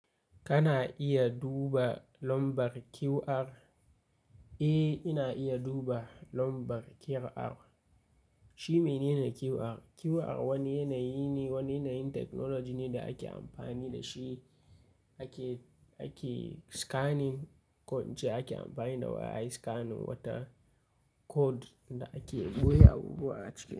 Kana iya duba nombar QR? Eh, ina iya duba nombar QR. Shi mene QR? QR wani yanayi ne, wani yanayin technology ne da ake amfani da shi ake, ake scanning, ko ince ake amfani da waya ayi scanning wata code da ake boye abubuwa a ciki.